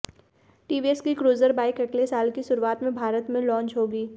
TVS की cruiser bike अगले साल की शुरुआत में भारत में लॉन्च होगी